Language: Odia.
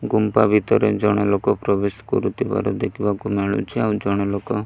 ଗୁମ୍ଫା ଭିତରେ ଜଣେ ଲୋକ ପ୍ରବେଶ କରୁଥିବାର ଦେଖିବାକୁ ମିଳୁଛି ଆଉ ଜଣେ ଲୋକ --